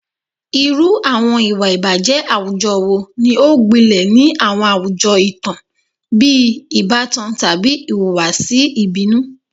Irú àwọn ìwà ìbàjẹ́ àwùjọ wo ni ó gbilẹ̀ ni àwọn àwùjọ ìtàn, bíi ìbátan tàbí ìhùwàsí ìbínú?